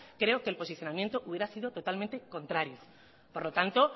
creo que el posicionamiento hubiera sido totalmente contrario por lo tanto